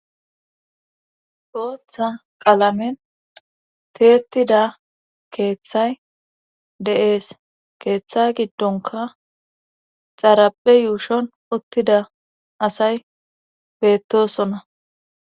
Booththa qalamen tiyettida keeththay de'ees keeththa giddonkka xaraphphe yuushshon uttida asay beettosonna